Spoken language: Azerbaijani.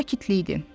Sakitlik idi.